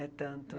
É tanto.